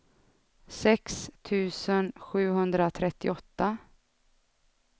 sex tusen sjuhundratrettioåtta